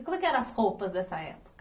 E como é que eram as roupas dessa época?